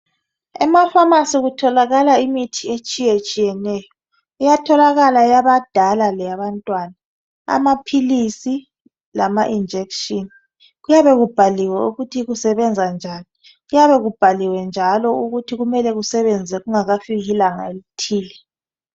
Emafamasi kutholakala imithi etshiyetshiyeneyo. Iyatholakala eyabadala leyabantwana, amaphilisi lama injection. Kuyabe kubhaliwe ukuthi kusebenza njani. Kuyabe kubhaliwe njalo ukuthi kumele kusebenze kungakafiki ilanga elithile.